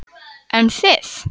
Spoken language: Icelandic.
Jóhanna Margrét: En þið?